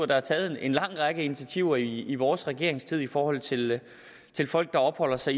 der er taget en lang række initiativer i vores regeringstid i forhold til til folk der opholder sig